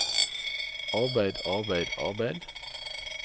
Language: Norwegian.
arbeid arbeid arbeid